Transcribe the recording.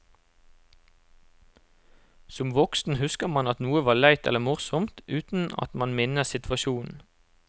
Som voksen husker man at noe var leit eller morsomt, uten at man minnes situasjonen.